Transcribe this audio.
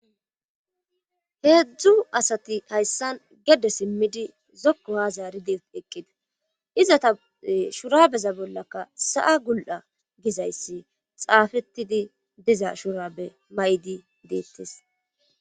heedzdzu asati hayssan gedde simmidi zokko haazaride eqqida izata shurabeza bollaka sa'a gul'a gizayssi xaafetidi diza shuraabe mayidi deettes